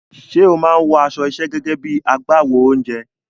Ṣé o máa ń wọ aṣọ iṣẹ́ gẹ́gẹ́ bí i agbáwo oúnjẹ?